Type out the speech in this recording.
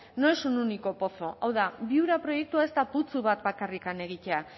no es un único pozo hau da viura proiektua ez da putzu bat bakarrik egitea